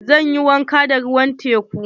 Zan yi wanka da ruwan teku.